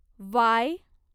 Y